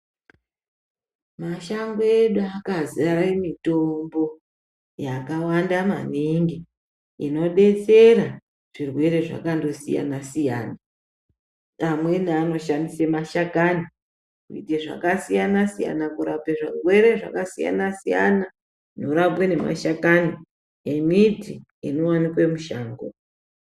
Mashango edu akazare mitombo inodetsera zvirwere zvakandosiyana siyana. Amweni anoshandisa mashakani kuite zvakasiyana siyana kurape zvirwere zvakasiyana siyana zvinorapwe nemashakani emiti inowanikwe mushango.